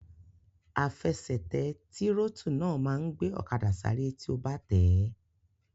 Àfẹsẹ̀tẹ̀ tírótù náà máa n gbé ọ̀kadà sáré tí o bá tẹ̀ẹ́